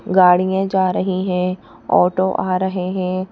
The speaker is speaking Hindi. गाड़ियां जा रही हैं ऑटो आ रहे हैं।